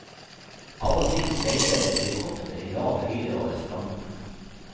Av og til sveiper det et helikopter i lav høyde over stranden.